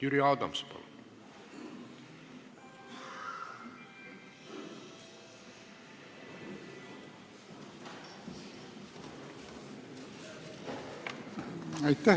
Jüri Adams, palun!